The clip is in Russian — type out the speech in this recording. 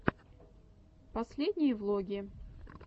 последние влоги